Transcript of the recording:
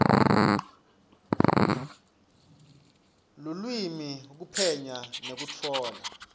lulwimi kuphenya nekutfola